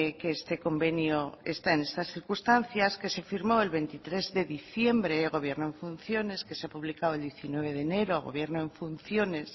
que este convenio está en estas circunstancias que se firmó el veintitrés de diciembre gobierno en funciones que se ha publicado el diecinueve de enero gobierno en funciones